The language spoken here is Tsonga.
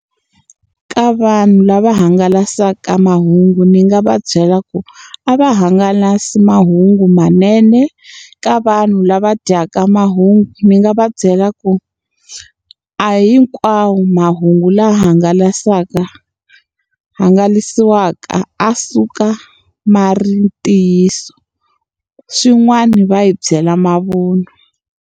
Ka vanhu lava hangalasaka mahungu ni nga va byela ku, a va hangalasa mahungumanene. Ka vanhu lava dyaka mahungu, ni nga va byela ku a hi hi hinkwawo mahungu lawa ya hangalasiwaka ya suka ma ri ntiyiso, swin'wana va yi byela mavun'wa.